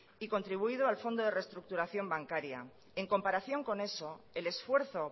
y contribuido al fondo de reestructuración bancaria en comparación con eso el esfuerzo